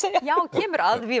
kemur